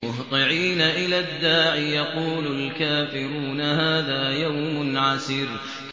مُّهْطِعِينَ إِلَى الدَّاعِ ۖ يَقُولُ الْكَافِرُونَ هَٰذَا يَوْمٌ عَسِرٌ